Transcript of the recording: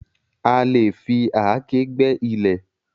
A lè fi àáké gbẹ́ ilẹ̀.